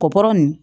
Kɔkɔ nin